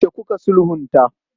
Yaushe kuka sulhunta?